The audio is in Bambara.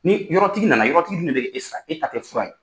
Ni yɔrɔtigi na na yɔrɔtigi dun de bɛ e sara e ta tɛ fura ye.